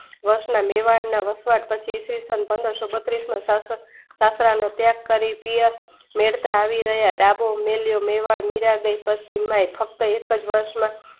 વર્ષ ના મેવાડના મેવાડ ના વસવાટ પછી ઈ. સ. પંદરસો બત્રીસના સંસારનો ત્યાગ કરી પિયર રડતા અવિરહ્યા દધો મેલ્યો મેવાડ મીરાંબાઈ પશ્ચિમ માં ફક્ત એકજ વર્ષ